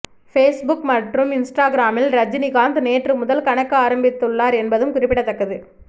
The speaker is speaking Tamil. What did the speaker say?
பேஸ்புக் மற்றும் இன்ஸ்ட்ராகிராமில் ரஜினிகாந்த் நேற்று முதல் கணக்கு ஆரம்பித்துள்ளார் என்பதும் குறிப்பிடத்தக்கது